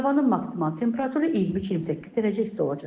Havanın maksimal temperaturu 23-28 dərəcə isti olacaq.